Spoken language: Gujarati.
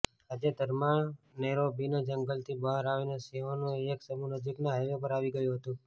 તાજેતરમાં નૈરોબીના જંગલથી બહાર આવીને સિંહોનું એક સમૂહ નજીકના હાઇવે પર આવી ગયું હતું